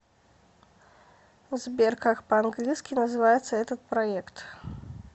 сбер как по английски называется этот проект